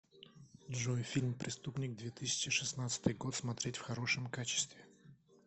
джой фильм преступник две тысячи шестнадцатый год смотреть в хорошем качестве